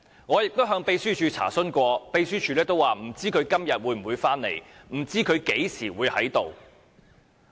我亦曾向秘書處查詢，答覆是不知道他今天會否回來或何時會在此。